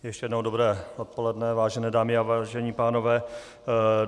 Ještě jednou dobré odpoledne, vážené dámy a vážení pánové.